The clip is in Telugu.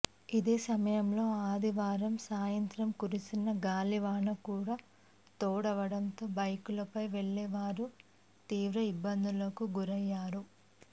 ఇదే సమయంలో ఆదివారం సాయంత్రం కురిసిన గాలివాన కూడా తోడవడంతో బైకులపై వెళ్లే వారు తీవ్ర ఇబ్బందులకు గురయ్యారు